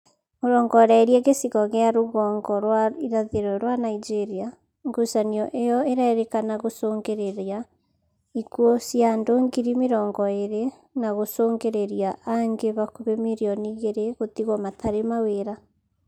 ũrongoreirie gĩcigo gĩa rũgongo rwa irathiro rwa Nigeria, ngucanio iyo ĩrerĩkana gũcũngĩrĩria ikuũ cia andũ ngiri mĩrongo ĩrĩ na gũcũngĩrĩria angĩ hakuhĩ mirioni igĩrĩ gũtigwo matarĩ mawĩra